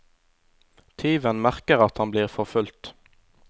Tyven merker at han blir forfulgt.